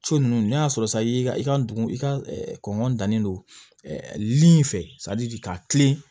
Co ninnu n'a sɔrɔ sayi i ka dugu i ka kɔnɔntɔnnen don lili in fɛ k'a tilen